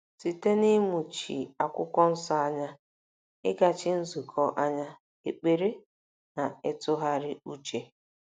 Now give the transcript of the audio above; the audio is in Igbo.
Site n’ịmụchi Akwụkwọ Nsọ anya, ịgachi nzukọ anya, ekpere, na ịtụgharị uche.